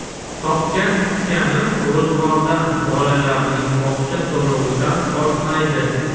Topgan-tutganim ro‘zg‘ordan, bolalarning bog‘cha to‘lovidan ortmaydi.